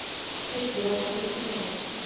хэй бро включи мне